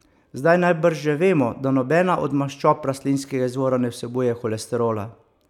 Zdaj najbrž že vemo, da nobena od maščob rastlinskega izvora ne vsebuje holesterola!